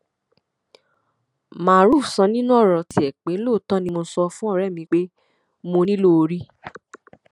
maruf sọ nínú ọrọ tiẹ pé lóòótọ ni mo sọ fún ọrẹ mi pé mo nílò orí